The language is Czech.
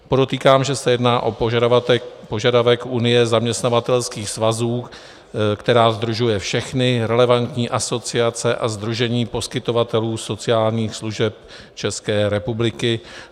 Podotýkám, že se jedná o požadavek Unie zaměstnavatelských svazů, která sdružuje všechny relevantní asociace a sdružení poskytovatelů sociálních služeb České republiky.